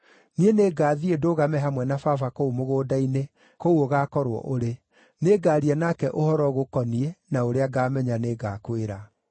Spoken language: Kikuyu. Niĩ nĩngathiĩ ndũgame hamwe na baba kũu mũgũnda-inĩ, kũu ũgaakorwo ũrĩ. Nĩngaaria nake ũhoro ũgũkoniĩ na ũrĩa ngaamenya nĩngakwĩra.”